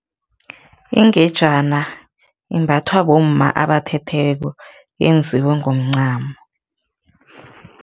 Ingejana imbathwa bomma abathethweko, yenziwe ngomncamo.